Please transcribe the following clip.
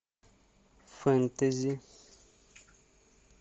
фэнтези